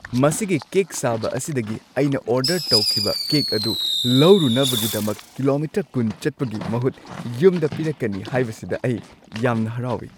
ꯃꯁꯤꯒꯤ ꯀꯦꯛ ꯁꯥꯕ ꯑꯁꯤꯗꯒꯤ ꯑꯩꯅ ꯑꯣꯔꯗꯔ ꯇꯧꯈꯤꯕ ꯀꯦꯛ ꯑꯗꯨ ꯂꯧꯔꯨꯅꯕꯒꯤꯗꯃꯛ ꯀꯤꯂꯣꯃꯤꯇꯔ ꯲꯰ ꯆꯠꯄꯒꯤ ꯃꯍꯨꯠ ꯌꯨꯝꯗ ꯄꯤꯔꯛꯀꯅꯤ ꯍꯥꯏꯕꯁꯤꯗ ꯑꯩ ꯌꯥꯝꯅ ꯍꯔꯥꯎꯏ꯫